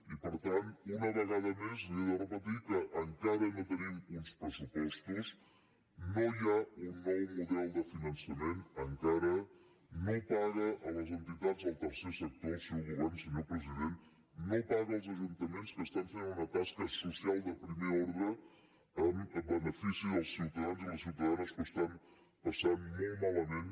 i per tant una vegada més li he de repetir que encara no tenim uns pressupostos no hi ha un nou model de finançament encara no paga a les entitats del tercer sector el seu govern senyor president no paga als ajuntaments que fan una tasca social de primer ordre en benefici dels ciutadans i les ciutadanes que ho passen molt malament